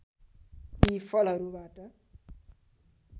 यी फलहरूबाट